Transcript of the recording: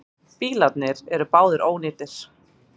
Bílarnir eru báðir ónýtir.